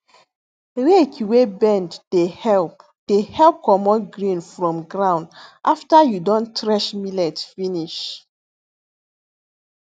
rake wey bend dey help dey help comot grain from ground after you don thresh millet finish